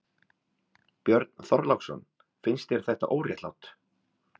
Björn Þorláksson: Finnst þér þetta óréttlátt?